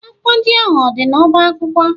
Akwụkwọ ndị ahụ o dị n'ọba akwụkwọ?